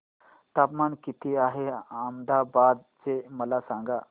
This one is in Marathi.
तापमान किती आहे अहमदाबाद चे मला सांगा